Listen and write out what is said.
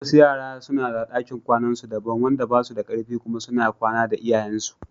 Wasu yaran suna da ɗakin kwanan su daban wanda basu da kar fi kuma suna kwana da iyayensu.